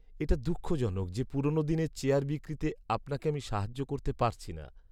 এটা দুঃখজনক যে পুরনোদিনের চেয়ার বিক্রিতে আপনাকে আমি সাহায্য করতে পারছি না।